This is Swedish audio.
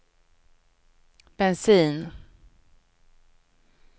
bensin